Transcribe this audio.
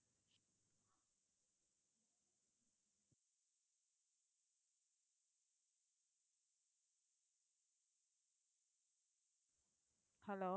hello